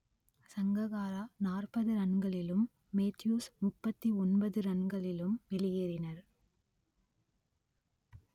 சங்ககாரா நாற்பது ரன்களிலும் மேத்யூஸ் முப்பத்தி ஒன்பது ரன்களிலும் வெளியேறினர்